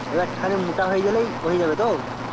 এবার খানিক মোটা হয়ে গেলে হয়ে যাবে তো